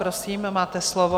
Prosím, máte slovo.